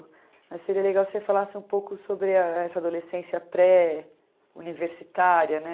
Mas seria legal se você falasse um pouco sobre a essa adolescência pré-universitária, né?